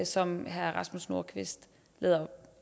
som herre rasmus nordqvist